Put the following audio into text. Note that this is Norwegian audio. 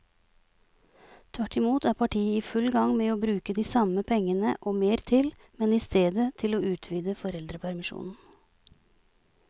Tvert imot er partiet i full gang med å bruke de samme pengene og mer til, men i stedet til å utvide foreldrepermisjonen.